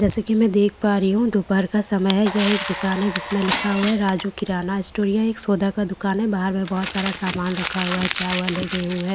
जैसे कि मैं देख पा रही हूं दोपहर का समय है यह एक दुकान है जिसमें लिखा हुआ है राजू किराना स्टोर यह एक सौदा का दुकान है बाहर में बहोत सारा सामान रखा हुआ है चावल है गेहूं है।